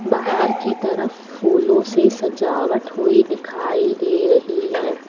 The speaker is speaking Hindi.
बाहर की तरफ फूलों से सजावट हुई दिखाई दे रही है।